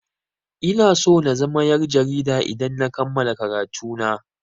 Ina so na zama yar' jarida idan na kammala karatu na.